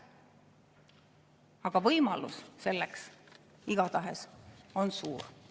Aga võimalus selleks igatahes on suur.